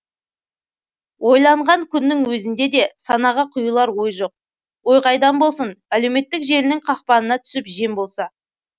ойланған күннің өзінде де санаға құйылар ой жоқ ой қайдан болсын әлеуметтік желінің қақпанына түсіп жем болса